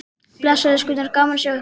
Bless elskurnar, gaman að sjá ykkur!